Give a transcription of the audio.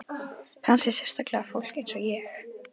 Kannski sérstaklega fólk eins og ég.